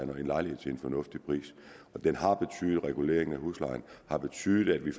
lejlighed til en fornuftig pris reguleringen af huslejen har betydet at vi